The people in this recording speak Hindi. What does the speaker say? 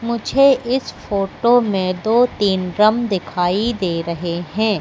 मुझे इस फोटो में दो तीन ड्रम दिखाई दे रहे हैं।